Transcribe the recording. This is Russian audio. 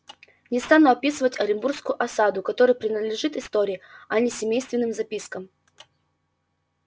не стану описывать оренбургскую осаду которая принадлежит истории а не семейственным запискам